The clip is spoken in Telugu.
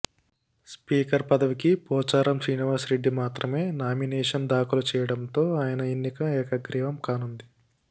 స్పీకర్ పదవికి పోచారం శ్రీనివాస్ రెడ్డి మాత్రమే నామినేషన్ దాఖలు చేయడం తో ఆయన ఎన్నిక ఏకగ్రీవం కానుంది